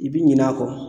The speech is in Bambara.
I bi ɲinɛ a kɔ